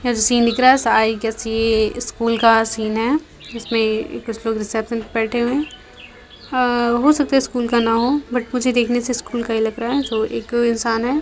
ये जो सीन दिख रहा है ये स्कूल का सीन है जिसमें एक रिसेप्शन पर बैठे हैं | हो सकता है स्कूल का न हो बट मुझे देखने से स्कूल का ही लग रहा हैसो एक इंसान है---